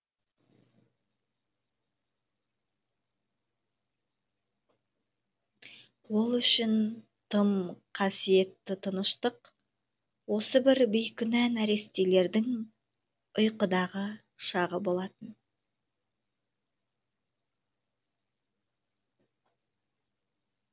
ол үшін тым қасиетті тыныштық осы бір бейкүнә нәрестелердің ұйқыдағы шағы болатын